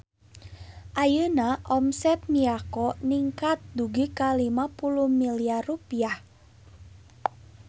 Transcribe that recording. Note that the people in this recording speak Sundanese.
Ayeuna omset Miyako ningkat dugi ka 50 miliar rupiah